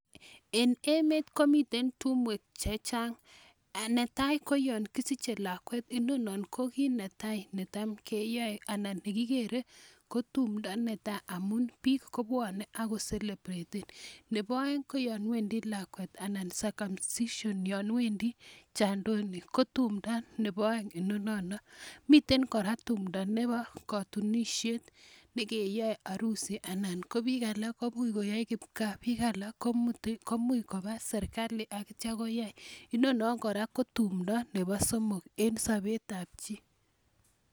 En emet ko miten tumwek che chang, netai ko yon kisiche lakwet inonon ko kii ne tai ne tam kiyoe anan ne kigere ko tumdo ne tai amun biik ko bwone aku celebraten. Nebo oeng ko yon wendi lakwet anan circumsition yon wendi jandoni ko tumda nebo oeng inonino, miten kora tumdo nebo katunisiet, ne keyoe harusi anan ko biik alak kobui koyoe kipkaa, biik alak ko muti, ko muy koba serikali akityo koyai, inonon kora ko tumdo nebo somok en sobetab chi.